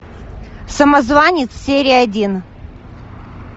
самозванец серия один